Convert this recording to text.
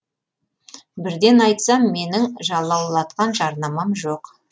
бірден айтсам менің жалаулатқан жарнамам жоқ